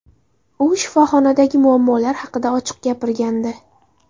U shifoxonadagi muammolar haqida ochiq gapirgandi .